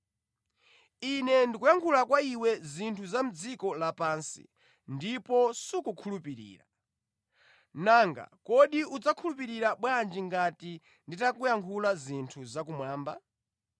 Ine ndikuyankhula kwa iwe zinthu za dziko lapansi ndipo sukukhulupirira. Nanga kodi udzakhulupirira bwanji ngati nditayankhula zinthu zakumwamba?